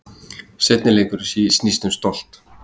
Seinni leikurinn snýst um stolt